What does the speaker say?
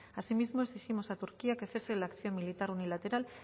asimismo exigimos a turquía que cese la acción militar unilateral